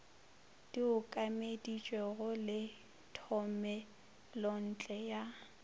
di okeditšwego le thomelontle ya